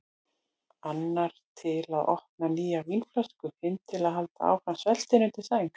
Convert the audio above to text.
Annar til að opna nýja vínflösku, hinn til að halda áfram sveltinu undir sæng.